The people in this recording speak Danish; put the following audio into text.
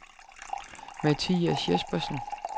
Mathias Jespersen